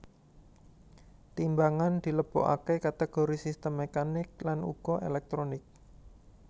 Timbangan dilebokaké kategori sistem mekanik lan uga elektronik